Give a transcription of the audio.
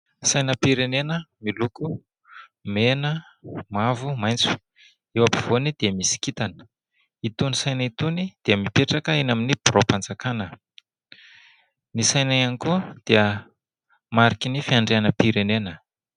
Sainam-pirenena miloko mena, mavo, maitso ; eo apovoany dia misy kitana. Itony saina itony dia mipetraka eny amin'ny biraom-panjakana. Ny saina ihany koa dia marikin'ny fiandrianam-pirenena.